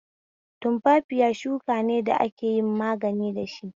Tumfafiya shuka ne da ake yin magani dashi.